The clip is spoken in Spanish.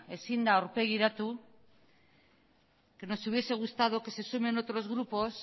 ezin da aurpegiratu que nos hubiese gustado que se sumen otros grupos